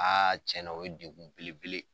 tiɲɛna o ye degun belebele.